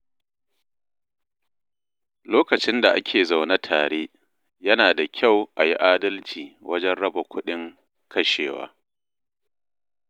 Lokacin da ake zaune tare, yana da kyau a yi adalci wajen raba kuɗin kashewa.